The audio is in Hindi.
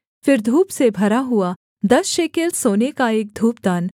फिर धूप से भरा हुआ दस शेकेल सोने का एक धूपदान